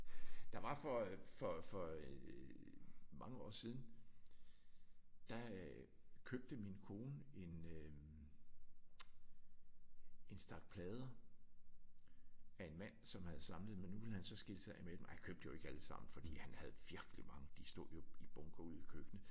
Der var for øh for for øh mange år siden der øh købte min kone en øh en stak plader af en mand som havde samlet dem men nu ville han så skille sig af med dem. Og jeg købte jo ikke alle sammen for han havde virkelig mange. De stod jo i bunker ude i køkkenet